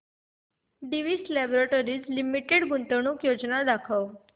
Divi's laboratories limited गुंतवणूक योजना दाखव